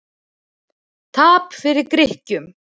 Tap fyrir Grikkjum